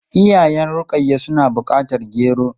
Iyayen Rukayya suna bukatar gero.